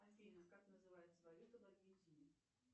афина как называется валюта в аргентине